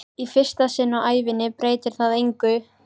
Í fyrsta sinn á ævinni breytir það engu.